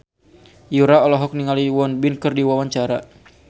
Yura olohok ningali Won Bin keur diwawancara